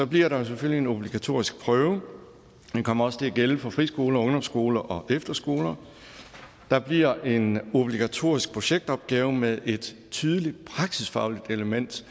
bliver der selvfølgelig en obligatorisk prøve det kommer også til at gælde for friskoler ungdomsskoler og efterskoler der bliver en obligatorisk projektopgave med et tydeligt praksisfagligt element